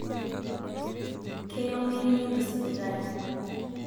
keyieu meri nelo sipitali